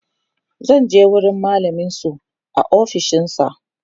zataje wurin mallamin su a ofishinsa